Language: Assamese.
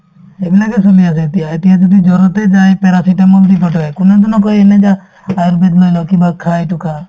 ধুনীয়াকে চলি আছে এতিয়া এতিয়া যদি জ্বৰতে যায় paracetamol দি পঠাই কোনেওতো নকয়ে এনে যাহ্ আয়ুৰ্বেদ লৈ ল কিবা খা এইটো খা